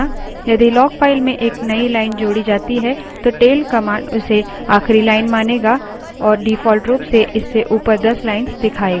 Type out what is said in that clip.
यदि log file में एक नई line जोड़ी जाती है तो tail command उसे आखिरी line मानेगा और default रूप से इससे ऊपर दस lines दिखाएगा